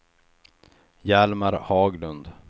Hjalmar Haglund